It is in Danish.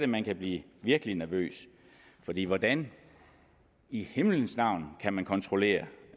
man kan blive virkelig nervøs fordi hvordan i himlens navn kan man kontrollere